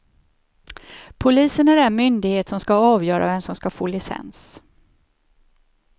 Polisen är den myndighet som ska avgöra vem som ska få licens.